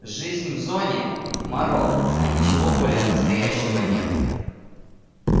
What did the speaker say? жизнь в зоне морок а ничего более настоящего нет